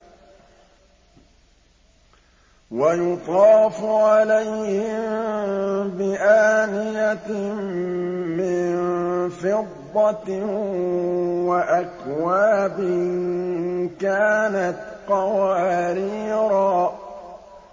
وَيُطَافُ عَلَيْهِم بِآنِيَةٍ مِّن فِضَّةٍ وَأَكْوَابٍ كَانَتْ قَوَارِيرَا